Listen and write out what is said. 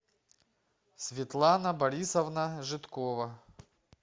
светлана борисовна жидкова